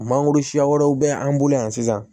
Mangoro siya wɛrɛw bɛ an bolo yan sisan